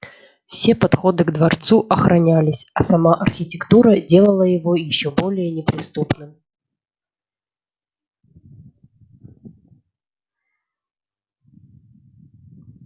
все подходы к дворцу охранялись а сама архитектура делала его ещё более неприступным